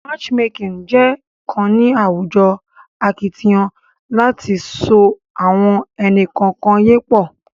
matchmaking je kàn ní àwùjọ akitiyan láti so awọn ẹni kọọkan yẹ pọ